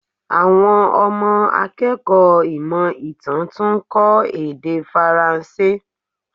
Àwọn ọmọ akẹ́kọ̀ọ́ ìmọ̀ ìtàn tún ń kó èdè Faranse.